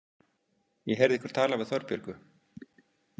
Ég heyrði ykkur tala við Þorbjörgu.